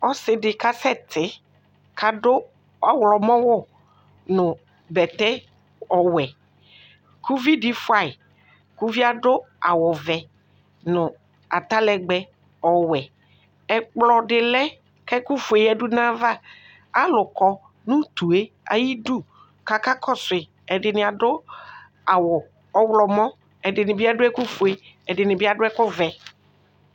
Isidi kasɛti kʋ adʋ ɔwlɔmɔwʋ nʋ bɛtɛ ɔwɛ kʋ ʋvvdi fayi kʋ ʋvie adʋ awʋvɛ nʋ atalɛgbɛ ɔwɛ ɛkplɔdi lɛ kʋ ɛkʋfue yadʋ nʋ ayava alʋkɔ nʋ utue ayʋ idʋ kʋ aka kɔsu yi ɛdini adʋ awʋ ɔwlɔmɔ ɛdini bi adʋ ɛkʋfue ɛdini bi adʋ ɛkʋvɛ